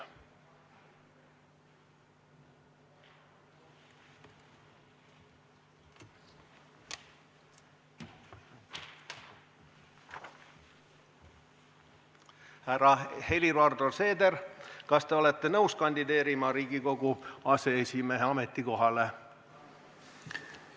Härra Helir-Valdor Seeder, kas te olete nõus kandideerima Riigikogu aseesimehe ametikohale?